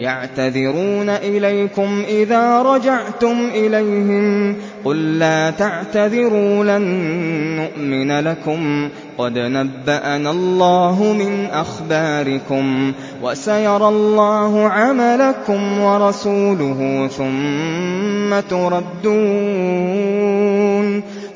يَعْتَذِرُونَ إِلَيْكُمْ إِذَا رَجَعْتُمْ إِلَيْهِمْ ۚ قُل لَّا تَعْتَذِرُوا لَن نُّؤْمِنَ لَكُمْ قَدْ نَبَّأَنَا اللَّهُ مِنْ أَخْبَارِكُمْ ۚ وَسَيَرَى اللَّهُ عَمَلَكُمْ وَرَسُولُهُ